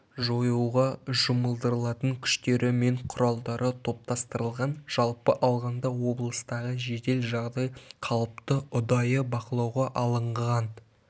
жоюға жұмылдырылатын күштері мен құралдары топтастырылған жалпы алғанда облыстағы жедел жағдай қалыпты ұдайы бақылауға алынған